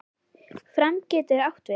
Fram getur átt við